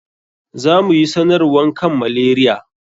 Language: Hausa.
Za mu yi sanarwan kan malaria.